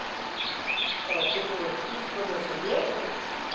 Ah, o que que eu fiz quando eu cheguei? Isso.